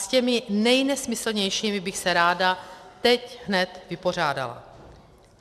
S těmi nejnesmyslnějšími bych se ráda teď hned vypořádala.